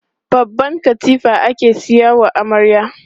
Babban katifa ake sayawa amarya.